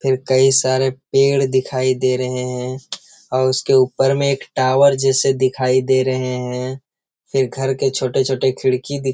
फिर कई सारे पेड़ दिखाई दे रहे हैं और उसके ऊपर में एक टावर जैसे दिखाई दे रहे हैं फिर घर के छोटे-छोटे खिड़की दिख --